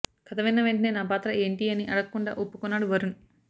కథ విన్న వెంటనే నా పాత్ర ఏంటి అని అడక్కుండా ఒప్పుకున్నాడు వరుణ్